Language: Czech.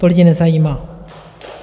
To lidi nezajímá.